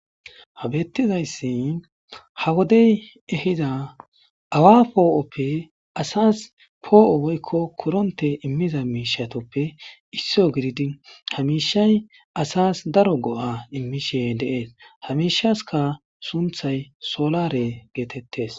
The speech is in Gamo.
Ha bettizayssi ha woddey ehidda awa po'oppe asas po'o woyko korronte imiza mishshatuppe issuwa giididi ha mishay asas daaro go'a immishe de'ess ha mishesika sunththay solare gettetess.